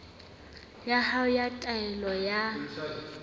ya hao ya taelo ya